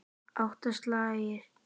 Átta slagir.